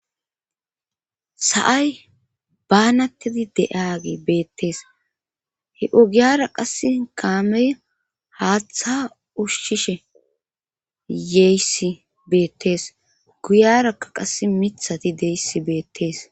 Sa7ay baanattedi de7age beettees he ugiyara qasse kaamey haaththa ushshishe yeyssi beettees guyarakka qass mithati deyssi beettees.